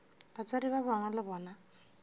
batswadi ba gagwe le bona